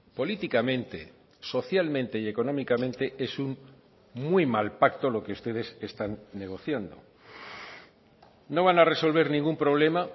políticamente socialmente y económicamente es un muy mal pacto lo que ustedes están negociando no van a resolver ningún problema